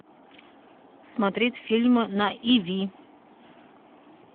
смотреть фильмы на иви